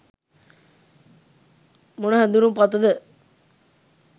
මොන හැඳුනුම්පතද